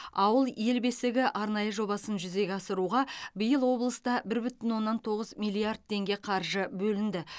ауыл ел бесігі арнайы жобасын жүзеге асыруға биыл облыста бір бүтін оннан тоғыз миллиард теңге қаржы бөлінді